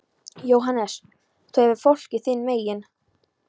JÓHANNES: Þú hefur fólkið þín megin.